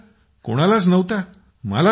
नाही सर कोणालाच नव्हता